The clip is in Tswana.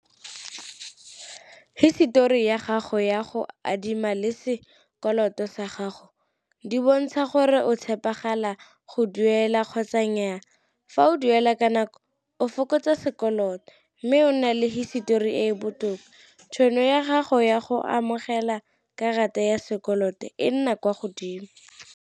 Hisetori ya gago ya go adima le se sekoloto sa gago di bontsha gore o tshepegala go duela kgotsa nnyaa. Fa o o duela ka nako o fokotsa sekoloto, mme o nna le hisitori e e botoka, tšhono ya gago ya go amogela karata ya sekoloto e nna kwa godimo.